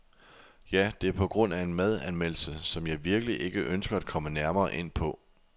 Ja, det er på grund af en madanmeldelse , som jeg virkelig ikke ønsker at komme nærmere ind på.